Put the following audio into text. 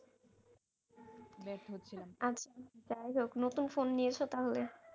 যাইহোক নতুন phone নিয়েছো তাহলে